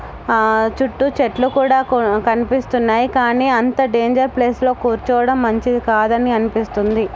అహ్ చుట్టూ చెట్లు కూడా కు కనిపిస్తున్నాయి కానీ అంత డేంజర్ ప్లేస్ లో కూర్చోవడం మంచిది కాదు అని అనిపిస్తుంది.